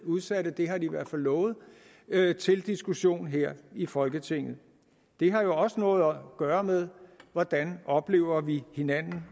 udsatte det har de i hvert fald lovet til diskussion her i folketinget det har jo også noget at gøre med hvordan vi oplever hinanden